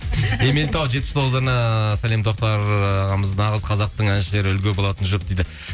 ерейментау жетпіс тоғыздарына сәлем тоқтар ағамыз нағыз қазақтың әншілері үлгі болатын жұп дейді